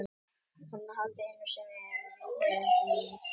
Hún hafði einu sinni litið þar inn þó að hún væri bara sautján.